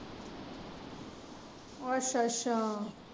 ਅੱਛਾ ਅੱਛਾ।